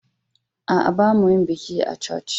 A'a, ba mu'a yin bikin a'ikilisiyan.